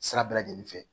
Sira bɛɛ lajɛlen fɛ